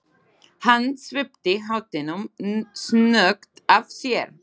Hann svipti hattinum snöggt af sér.